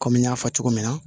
Kɔmi n y'a fɔ cogo min na